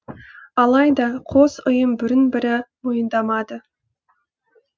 алайда қос ұйым бірін бірі мойындамады